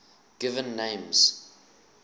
given names